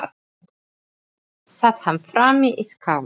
Sat hann frammi í skála.